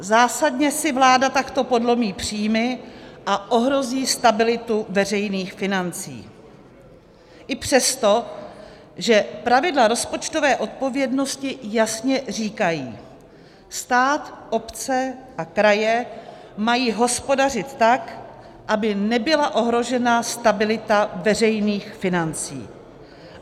Zásadně si vláda takto podlomí příjmy a ohrozí stabilitu veřejných financí i přesto, že pravidla rozpočtové odpovědnosti jasně říkají: stát, obce a kraje mají hospodařit tak, aby nebyla ohrožena stabilita veřejných financí.